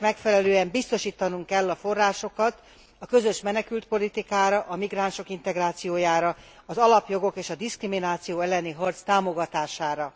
Ennek megfelelően biztosítanunk kell a forrásokat a közös menekültpolitikára, a migránsok integrációjára, az alapjogok és a diszkrimináció elleni harc támogatására.